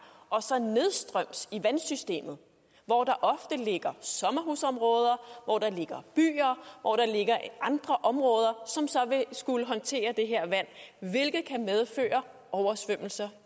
og så nedstrøms i vandsystemet hvor der ofte ligger sommerhusområder hvor der ligger byer hvor der ligger andre områder som så vil skulle håndtere det her vand hvilket kan medføre oversvømmelser